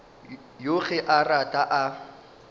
yoo ge a rata a